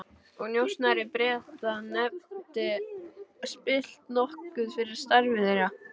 og njósnari Breta, hefði spillt nokkuð fyrir starfi þeirra.